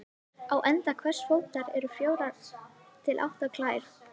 Á enda hvers fótar eru fjórar til átta klær.